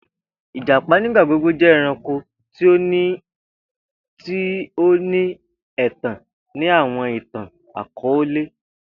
Ijapa nigbagbogbo jẹ ẹranko ti o ni ẹtan ni awọn itan-akọọlẹ